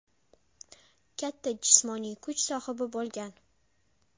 Katta jismoniy kuch sohibi bo‘lgan.